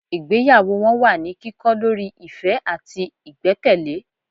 ìgbéyàwó wọn wà ní kikọ lorí ìfẹ́ àtí ìgbẹ́kẹ̀lé